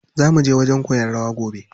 Zaa muje wajen koyan rawa gobe.